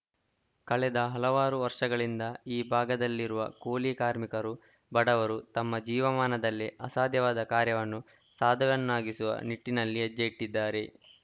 ಕಳೆದ ಹಲವಾರು ವರ್ಷಗಳಿಂದ ಈ ಭಾಗದಲ್ಲಿರುವ ಕೂಲಿ ಕಾರ್ಮಿಕರು ಬಡವರು ತಮ್ಮ ಜೀವಮಾನದಲ್ಲೇ ಅಸಾಧ್ಯವಾದ ಕಾರ್ಯವನ್ನು ಸಾಧ್ಯವನ್ನಾಗಿಸುವ ನಿಟ್ಟಿನಲ್ಲಿ ಹೆಜ್ಜೆ ಇಟ್ಟಿದ್ದಾರೆ